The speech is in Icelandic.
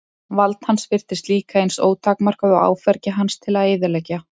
Vald hans virtist líka eins ótakmarkað og áfergja hans til að eyðileggja.